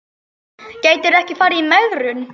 Gætirðu ekki farið í megrun?